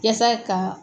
Yasa ka